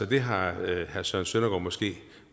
det har herre søren søndergaard måske